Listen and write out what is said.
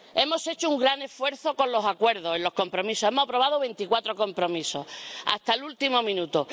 Hemos hecho un gran esfuerzo con los acuerdos en los compromisos, hemos aprobado veinticuatro compromisos, hasta el último minuto...